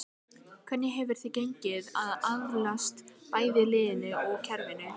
Hvernig hefur þér gengið að aðlagast bæði liðinu og kerfinu?